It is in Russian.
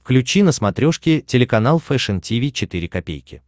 включи на смотрешке телеканал фэшн ти ви четыре ка